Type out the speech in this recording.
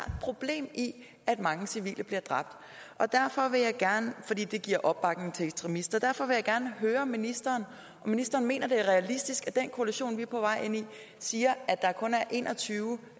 problem i at mange civile bliver dræbt fordi det giver opbakning til ekstremister derfor vil jeg gerne høre ministeren om ministeren mener det er realistisk den koalition vi er på vej ind i siger at der kun er en og tyve